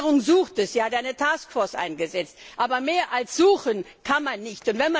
Die Regierung sucht sie ja, hat eine Task Force eingesetzt, aber mehr als suchen kann man nicht.